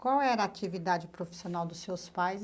Qual era a atividade profissional dos seus pais?